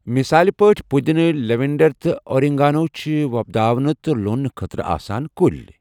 مثال پٲٹھۍ، پٔدٕنہٕ، لیوینڈر تہٕ اوریگانو چھِ وۄپداونہِ تہٕ لوننہٕ خٲطرٕ آسان کُلۍ۔